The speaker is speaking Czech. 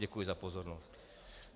Děkuji za pozornost.